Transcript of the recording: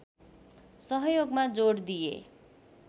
सहयोगमा जोड दिए